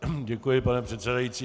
Děkuji, pane předsedající.